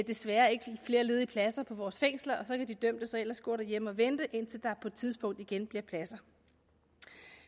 desværre ikke flere ledige pladser på vores fængsler og så kan de dømte så ellers gå derhjemme og vente indtil der på et tidspunkt igen bliver pladser